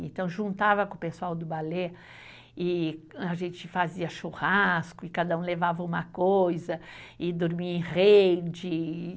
Então, juntava com o pessoal do balé e a gente fazia churrasco e cada um levava uma coisa e dormia em rede.